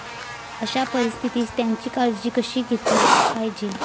अशा परिस्थितीत त्यांची कशी काळजी घेतली पाहिजे.